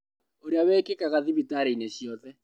Ũrĩa wĩkĩkaga thibitarĩ-inĩ ciothe